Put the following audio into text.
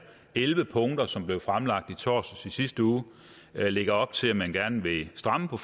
elleve punkter som blev fremlagt i torsdags i sidste uge lægger op til at man gerne vil stramme på